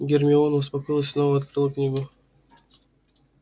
гермиона успокоилась и снова открыла книгу